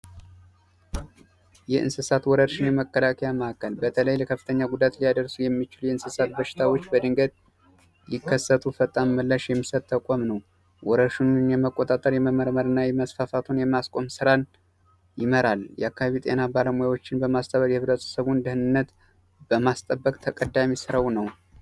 የእንስሳት ወረርሽኝ መከላከያ ማዕከል በተለይ ከባድ ጉዳት ሊያደርሱ የሚችሉ የእንስሳት ወረርሽኝ በድንገት ቢከሰቱ ፈጣን ምላሽ የሚሰጥ ተቋም ነው ወራሽ ምን የመቆጣጠር የመመርመርና የማስቆም ስራን ይመራል የአካባቢው ጤና ባለሙያ የማህበረሰቡን ጤና በማስቀደም ተቀዳሚ ስራው ነው።